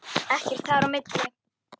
Ekkert þar á milli.